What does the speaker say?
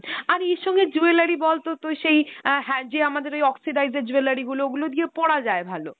আর এর সঙ্গে jewelry বল তোর তো সেই অ্যাঁ হ্যাঁ যে আমাদের ওই oxidize এর jewelry গুলো, ওগুলো দিয়েও পরা যায় ভালো